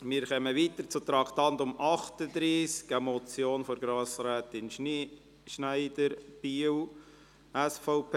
Wir kommen zum Traktandum 38, einer Motion von Grossrätin Schneider, Biel, SVP: